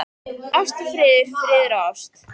Ást og friður, friður og ást.